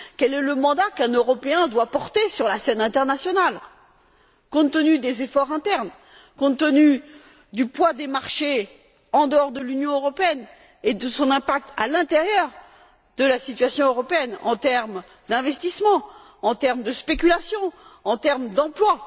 Quel est le mandat qu'un Européen doit porter sur la scène internationale, compte tenu des efforts internes, du poids des marchés en dehors de l'Union européenne et de son impact à l'intérieur de la situation européenne en termes d'investissement, de spéculation, d'emploi?